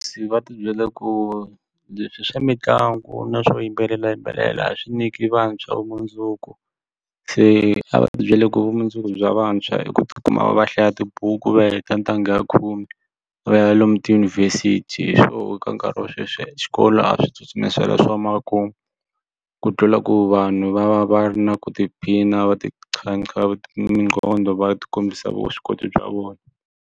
Se va tibyela ku leswi swa mitlangu na swo yimbelelayimbelela swi nyiki vantshwa vumundzuku se a va tibyele ku vumundzuku bya vantshwa i ku tikuma va hlaya tibuku va heta ntanga khume va ya lomu tiyunivhesiti hi swona ka nkarhi wa sweswi xikolo a swi tsutsumisela swo mara ku ku tlula ku vanhu va va va ri na ku tiphina va minqondo va ti kombisa vuswikoti bya vona.